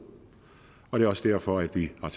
og det er også derfor at vi har